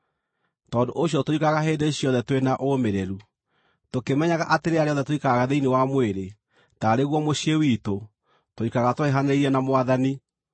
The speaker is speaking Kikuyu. Tondũ ũcio tũikaraga hĩndĩ ciothe tũrĩ na ũũmĩrĩru, tũkĩmenyaga atĩ rĩrĩa rĩothe tũikaraga thĩinĩ wa mwĩrĩ taarĩ guo mũciĩ witũ, tũikaraga tũraihanĩrĩirie na Mwathani.